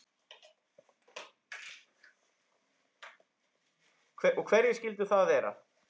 Og hverjir skyldu það vera?